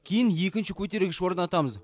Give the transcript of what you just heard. кейін екінші көтергіш орнатамыз